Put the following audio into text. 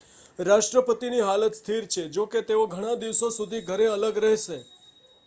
રાષ્ટ્રપતિની હાલત સ્થિર છે જોકે તેઓ ઘણા દિવસો સુધી ઘરે અલગ રહેશે